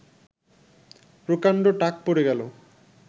প্রকাণ্ড টাক পড়ে গেল